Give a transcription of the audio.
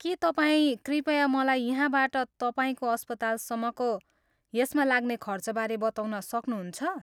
के तपाईँ कृपया मलाई यहाँबाट तपाईँको अस्पतालसम्मको यसमा लाग्ने खर्चबारे बताउन सक्नुहुन्छ?